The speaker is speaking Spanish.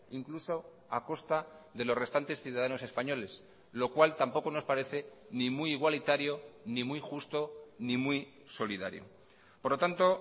incluso a costa de los restantes ciudadanos españoles lo cual tampoco nos parece ni muy igualitario ni muy justo ni muy solidario por lo tanto